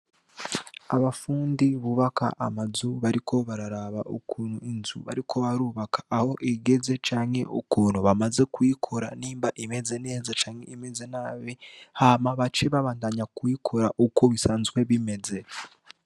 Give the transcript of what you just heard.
Abafundi bubaka amazu bariko bararaba ukunu inzu bariko barubaka aho igeze canke ukuntu bamaze kiyikora nimba imeze neza canke imeze nabi hama bacebabandanya kuyikora uko bisanzwe bimeze